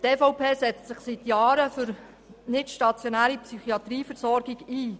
Die EVP setzt sich seit Jahren für die nicht-stationäre Psychiatrieversorgung ein.